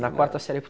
Na quarta série.